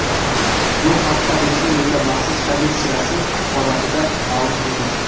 Bu haqda Respublika maxsus komissiyasi axborotida ma’lum qilindi.